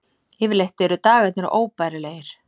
Yfirleitt eru dagarnir óbærilegir.